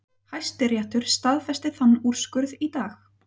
Hæstiréttur staðfesti þann úrskurð í dag